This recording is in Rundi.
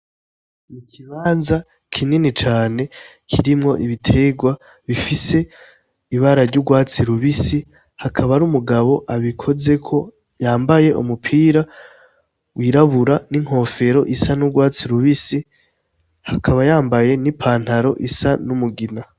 Ikibanza kinini cane kirimwo ibiterwa bifise ibara ry'urwatsi rubisi hakaba hari umugabo abikozeko yambaye umupira w'irabura n'inkofero isa n'urwatsi rubisi akaba yambaye n'ipantalo isa n'umugina